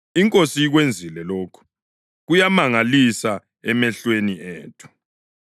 iNkosi ikwenzile lokhu, kuyamangalisa emehlweni ethu’ + 12.11 AmaHubo 118.22-23 ?”